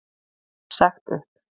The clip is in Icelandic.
Sagt upp